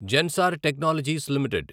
Zensar technologies limited